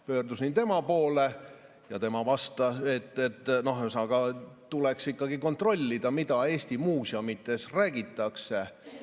Pöördusin tema poole, et tuleks ikkagi kontrollida, mida Eesti muuseumides räägitakse.